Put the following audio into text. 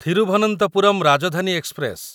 Thiruvananthapuram Rajdhani express